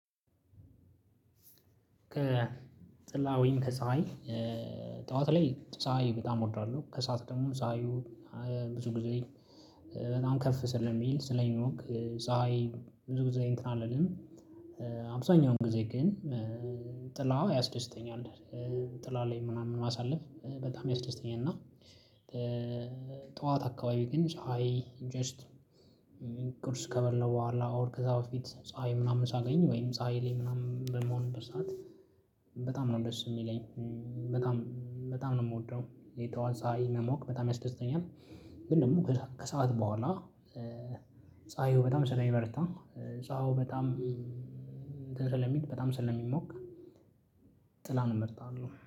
ከጥላ ወይም ከፀሀይ ጠዋት ላይ ፀሀይ በጣም እወዳለሁ። ከሰአት ደግሞ ፀሀዩ ብዙ ጊዜ በጣም ከፍ ስለሚል ስለሚሞቅ ፀሀይ ብዙ ጊዜ እንትን አልልም። አብዛኛውን ጊዜ ግን ጥላ ያስደስተኛል። ጥላ ላይ ምናምን ማሳለፍ በጣም ያስደስተኛል። እና ጠዋት አካባቢ ግን ፀሀይ ጀስት ቁርስ ከበላው በኋላ ኦር ከዛ በፊት ፀሀይ ምናምን ሳገኝ ወይም ፀሀይ ላይ ምናምን በምሆንበት ሰዓት በጣም ነው ደስ ሚለኝ። በጣም በጣም ነው ምወደው። የጠዋት ፀሀይ መሞቅ በጣም ያስደስተኛል። ግን ደግሞ ከሰአት በኋላ ፀሀዩ በጣም ስለሚበረታ ፀሀዩ በጣም እንትን ስለሚል በጣም ስለሚሞቅ ጥላን እመርጣለሁ።